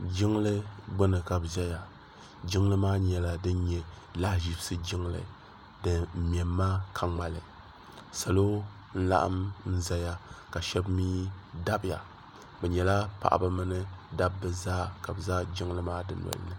jinli gbani ka b. zaya jinli maa nyɛla din nyɛ lahi zibizisi jinli bɛ nyɛma ka ŋmɛli salo n laɣim zaya ka shɛbi mi dabiya be nyɛla paɣ' ba mini da ba zaasa ka be za jinli maa do doli ni